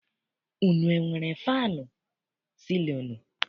Unu enwere faanụ sịlịnụ?